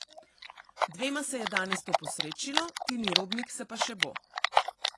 Dvema se je danes to posrečilo, Tini Robnik se pa še bo.